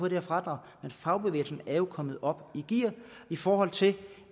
det her fradrag men fagbevægelsen er jo kommet op i gear i forhold til